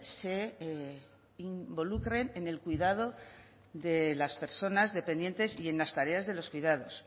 se involucren en el cuidado de las personas dependientes y en las tareas de los cuidados